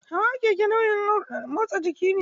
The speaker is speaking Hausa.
Hawa keke nau'in motsa jiki ne.